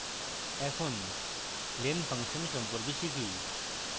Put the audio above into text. এখন len function সম্পর্কে শিখি